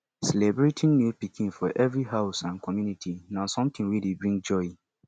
celebrating new pikin for every house and community na something wey dey bring joy